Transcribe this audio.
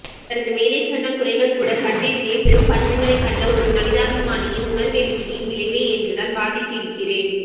அவரது மேலே சொன்ன குறைகள் கூட கண்ணெதிரே பெரும்பஞ்சங்களைக் கண்ட ஓரு மனிதாபிமானியின் உணர்வெழுச்சியின் விளைவே என்றுதான் வாதிட்டிருக்கிறேன்